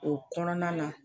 O kɔnɔna na